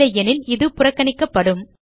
இல்லையெனில் இது புறக்கணிக்கப்படும்